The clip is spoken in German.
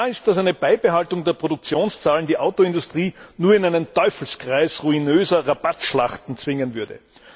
Klar ist, dass eine Beibehaltung der Produktionszahlen die Autoindustrie nur in einen Teufelskreis ruinöser Rabattschlachten zwingen würde.